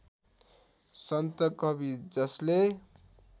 सन्त कवि जसले